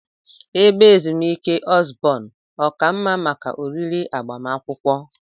Ebe ezumike Osborn ọ ka mma maka oriri agbamakwụkwọ?